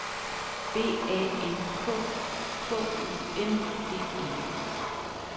B A N K K U N D E